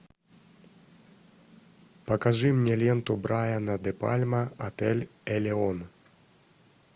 покажи мне ленту брайана де пальма отель элеон